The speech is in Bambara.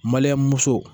muso